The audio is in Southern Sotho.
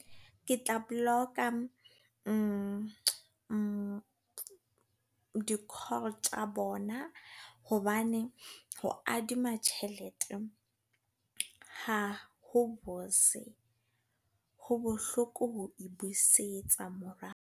Ke tla block-a di call tsa bona. Hobane, ho adima tjhelete ha ho bose. Ho bohloko, ho busetsa morao.